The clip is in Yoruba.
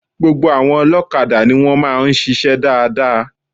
Gbogbo àwọn olókadà ni wón máa ń sisé dáadáa